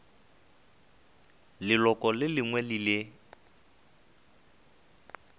leloko le lengwe le le